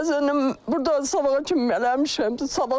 Təzədən burdan sabaha kimi mələmişəm.